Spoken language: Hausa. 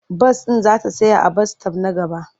Bas ɗin za ta tsaya a bas-sitop na gaba.